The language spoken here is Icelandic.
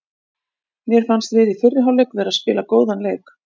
Mér fannst við í fyrri hálfleik vera að spila góðan leik.